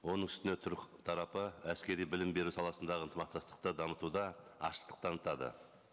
оның үстіне түрік тарапы әскери білім беру саласындағы ынтымақтастықты дамытуда ашықтық танытады